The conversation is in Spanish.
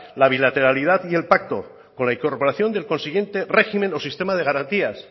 la bilateralidad y el pacto con la incorporación del consiguiente régimen o sistema de garantías